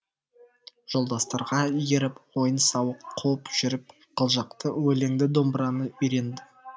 жолдастарға еріп ойын сауық қуып жүріп қылжақты өлеңді домбыраны үйрендім